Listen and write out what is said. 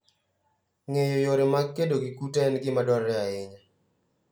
Ng'eyo yore mag kedo gi kute en gima dwarore ahinya.